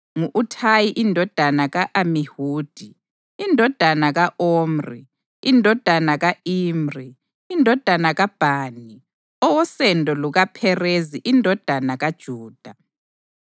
Ngu-Uthayi indodana ka-Amihudi, indodana ka-Omri, indodana ka-Imri, indodana kaBhani, owosendo lukaPherezi indodana kaJuda.